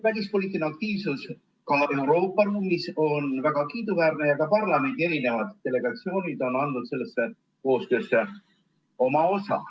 Välispoliitiline aktiivsus Euroopa mullis on väga kiiduväärne ja ka parlamendi delegatsioonid on andnud sellesse koostöösse oma osa.